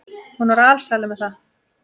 Hún var alsæl með það.